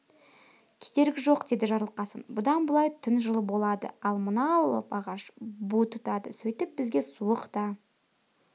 керегі жоқ деді жарылқасын бұдан былай түн жылы болады ал мына алып ағаш бу тұтады сөйтіп бізге суық та